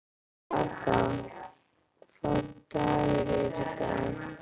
Ada, hvaða dagur er í dag?